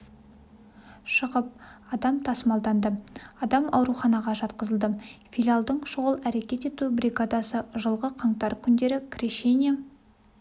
шығып адам тасымалданды адам ауруханаға жатқызылды филиалдың шұғыл әрекет ету бригадасы жылғы қаңтар күндері крещение